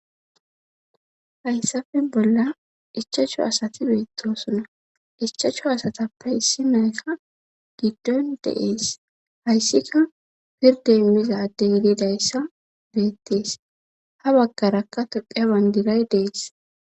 Hayssafe bolla ichacho asati beettosona ichacho asatappe issi nayka giddon deees hayssika pirde immizadde yididayssa beettees ha baggarakka tophiyaban diray dees.